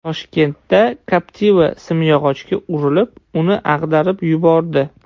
Toshkentda Captiva simyog‘ochga urilib, uni ag‘darib yubordi.